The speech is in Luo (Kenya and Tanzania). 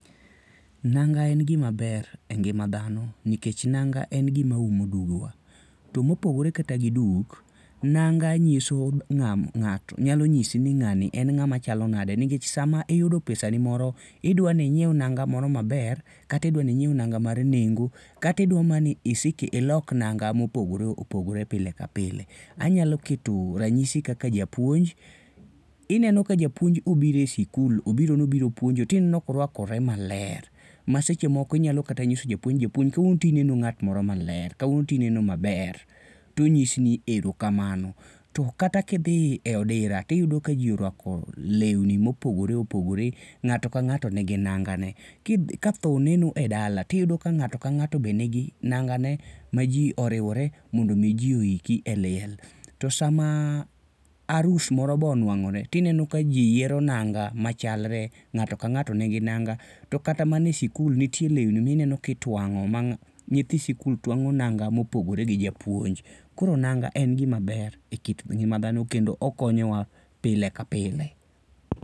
Nanga en gima ber e ngima dhano nikech nanga en gima umo duge wa. To mopogore kata gi duk, nanga nyiso ng'ato. Nyalo nyisi ni ng'ani en ng'ama chalo nade nikech sama iyudo pesa ni moro, idwani ing'weu nanga moro maber kata idwani ing'weu nanga mar nengo, kata idwa mani isik ilok nanga mopogore opogore pile ka pile. Anyalo keto ranyisi kaka japuonj. Ineno ka japuonj obiro e sikul obiro no obiro puonjo tineno ka oruakore maler, masechemoko inyalo kata nyiso japuonj ni "japuonj kawuono to ineno ng'at moro maler, kawuono to ineno maber" to onyisi ni "erokamano." To kata kidhi e odira tiyudo ka ji orwako lewni mopogore opogore, ng'ato ka ng'ato nigi nangane. Ka tho oneno e dala tiyudo ka ng'ato ka ng'ato be nigi nangane ma ji oriwore mondo mi ji oiki e liel. To sama arus moro be onwang'ore tineno ka ji yiero nanga machalre, ng'ato ka ng'ato nigi nanga. To kata mana e sikul nitie lewni mineno kitwang'o ma nyithi sikul twang'o nanga mopogore gi japuonj. Koro nanga en gima ber e kit ngima dhano kendo okonyo wa pile ka pile.